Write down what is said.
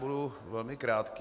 Budu velmi krátký.